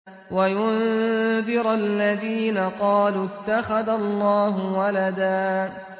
وَيُنذِرَ الَّذِينَ قَالُوا اتَّخَذَ اللَّهُ وَلَدًا